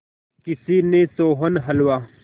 किसी ने सोहन हलवा